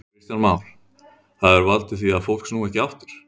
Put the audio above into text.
Kristján Már: Það hefur valdið því að fólk snúi ekki aftur?